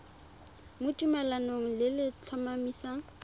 mo tumalanong le le tlhomamisang